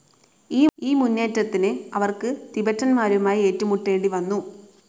ഈ മുന്നേറ്റത്തിന്, അവർക്ക് തിബറ്റന്മാരുമായി ഏറ്റുമുട്ടേണ്ടി വന്നു.